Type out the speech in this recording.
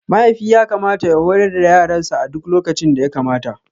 Mahaifi yakamata ya horar da yaransa a duk lokacin da yakamata.